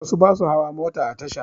Wasu ba su hawa mota a tasha